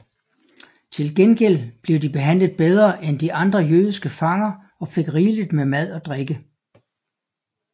Til gengæld blev de behandlet bedre end de andre jødiske fanger og fik rigeligt med mad og drikke